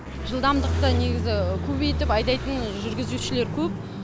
жылдамдықты негізі көбейтіп айдайтын жүргізушілер көп